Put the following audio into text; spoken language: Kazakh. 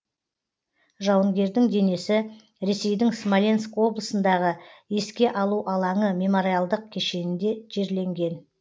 жауынгердің денесі ресейдің смоленск облысындағы еске алу алаңы мемориалдық кешенінде жерленген